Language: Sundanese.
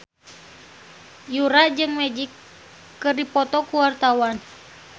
Yura jeung Magic keur dipoto ku wartawan